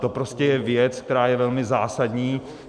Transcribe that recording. To prostě je věc, která je velmi zásadní.